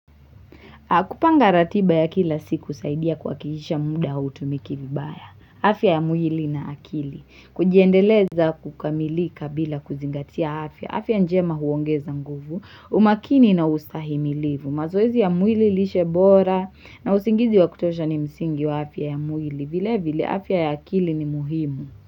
Kupanga ratiba ya kila siku uzaidia kwa kihisha muda utumikivibaya. Afia ya mwili na akili. Kujiendeleza kukamilika bila kuzingatia afya. Afya njema huongeza nguvu. Umakini na ustahimilivu. Mazoezi ya mwili lishebora na usingizi wa kutosha ni msingi wa afya ya mwili. Vile vile afia ya akili ni muhimu.